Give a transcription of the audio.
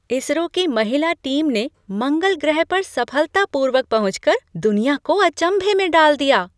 आई. S. R. O. की महिला team ने मंगल ग्रह पर सफलतापूर्वक पहुंच कर दुनिया को अचंभे में डाल दिया।